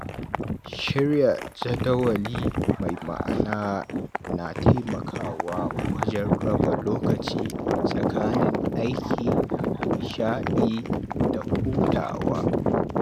Shirya jadawali mai ma'ana na taimakawa wajen raba lokaci tsakanin aiki, nishaɗi, da hutawa.